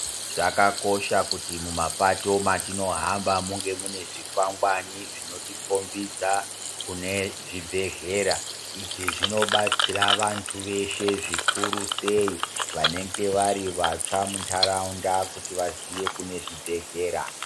Zvakakosha kuti mumapato matinohamba munge mune zvikwangwani zvinotikombidza kune zvibhedhlera izvi zvinobatsira vanthu veshe zvikuru sei vanenge vari vatsva muntharaunda kuti vaziye kune zvibhedhlera.